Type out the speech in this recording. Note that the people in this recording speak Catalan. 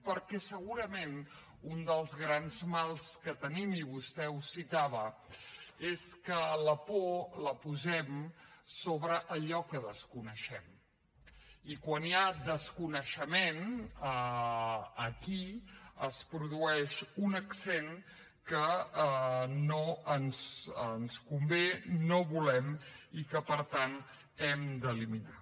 perquè segurament un dels grans mals que tenim i vostè ho citava és que la por la posem sobre allò que desconeixem i quan hi ha desconeixement aquí es produeix un accent que no ens convé no volem i que per tant hem d’eliminar